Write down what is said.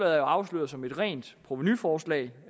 er afsløret som et rent provenuforslag